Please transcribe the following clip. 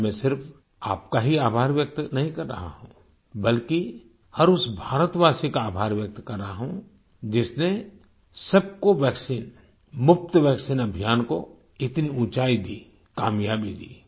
आज मैं सिर्फ आपका ही आभार व्यक्त नहीं कर रहा हूँ बल्कि हर उस भारतवासी का आभार व्यक्त कर रहा हूँ जिसने सबको वैक्सीनमुफ्त वैक्सीन अभियान को इतनी ऊँचाई दी कामयाबी दी